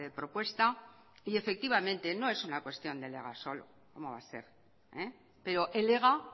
propuesta y efectivamente no es una cuestión del ega solo cómo va a ser pero el ega